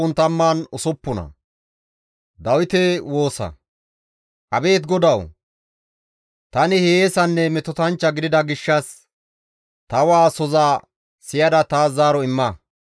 Abeet GODAWU! Tani hiyeesanne metotanchcha gidida gishshas ta waasoza siyada taas zaaro imma.